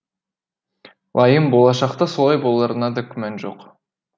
лайым болашақта солай боларына да күмән жоқ